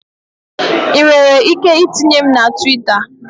Ị nwere ike itinye m na Twita?